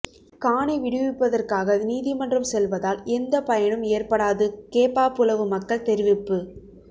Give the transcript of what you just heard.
காணி விடுவிப்பிற்காக நீதிமன்றம் செல்வதால் எந்த பயனும் ஏற்படாது கேப்பாபுலவு மக்கள் தெரிவிப்பு